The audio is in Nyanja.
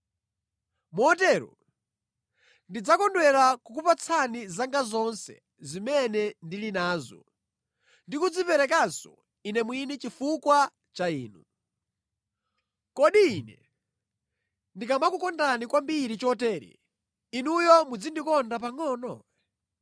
Motero ndidzakondwera kukupatsani zanga zonse zimene ndili nazo ndi kudziperekanso ine mwini chifukwa cha inu. Kodi ine ndikamakukondani kwambiri chotere, inuyo mudzandikonda pangʼono?